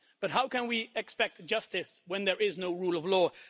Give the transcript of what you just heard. But how can we expect justice when there is no rule of law?